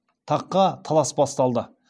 таққа талас басталды